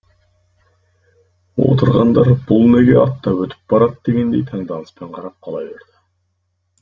отырғандар бұл неге аттап өтіп барады дегендей таңданыспен қарап қала берді